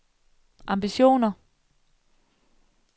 ambitioner